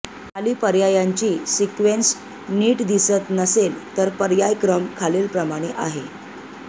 खाली पर्यायांची सिक्वेंस नीट दिसत नसेल तर पर्याय क्रम खालीलप्रमाणे आहे